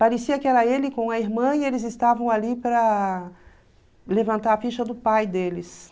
Parecia que era ele com a irmã e eles estavam ali para levantar a ficha do pai deles.